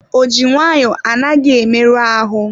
Ọjị nwayọ anaghị emerụ ahụ.